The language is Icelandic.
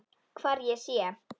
Hvar ég sé.